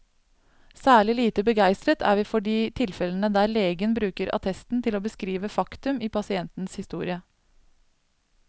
Særlig lite begeistret er vi for de tilfellene der legen bruker attesten til å beskrive faktum i pasientens historie.